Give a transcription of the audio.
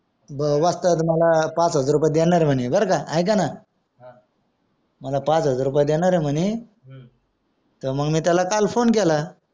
वस्ताद मला पाच हजार रुपय देणार आहे म्हणे बरका एकानं मला पाच हजार रुपय देणार आहे म्हणे तर मग मी त्याला काल phone केला